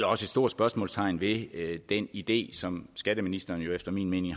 også et stort spørgsmålstegn ved den idé som skatteministeren efter min mening